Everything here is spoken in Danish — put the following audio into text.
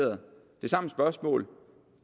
samme spørgsmål